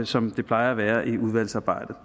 som der plejer at være i udvalgsarbejdet